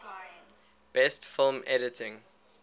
best film editing